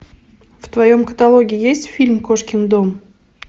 в твоем каталоге есть фильм кошкин дом